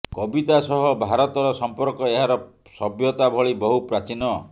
କବିତା ସହ ଭାରତର ସମ୍ପର୍କ ଏହାର ସଭ୍ୟତା ଭଳି ବହୁ ପ୍ରାଚୀନ